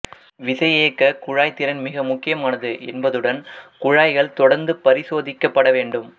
விசையியக்கக் குழாய் திறன் மிக முக்கியமானது என்பதுடன் குழாய்கள் தொடர்ந்து பரிசோதிக்கப்பட வேண்டும்